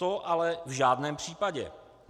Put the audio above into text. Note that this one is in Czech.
To ale v žádném případě.